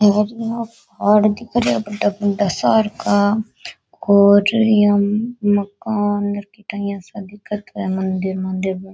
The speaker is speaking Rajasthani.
और इया पहाड़ दिख रा बड़ा बड़ा सार का और इया मकान सा दिखत है मंदिर मंदिर बन --